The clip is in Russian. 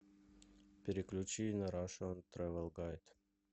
переключи на рашен трэвел гайд